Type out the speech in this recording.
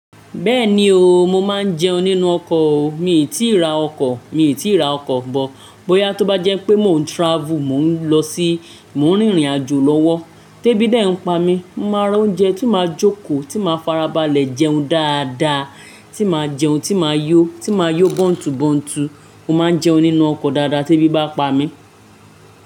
Bẹ́ẹ̀ni o, mo máa ń jẹun nínú ọkọ̀ o. Mi ò tíì ra ọkọ̀, mi ò tí ì ra ọkọ̀ bọ̀. Bóyá tó bá jẹ́ pé mò ń travel, mò ń lọ sí mò ń rìnrìn àjò lọ́wọ́, tí ebí dé ń pa mí, mo máa rà oúnjẹ tí màá jókòó, tí màá farabalẹ̀ jẹun dáadáa, tí màá jẹun, tí màá yó, tí màá yó bọ́ntù-bọ́ntù. Mo máa ń jẹun nínú ọkọ̀ dáadáa tí ebí bá pa mí.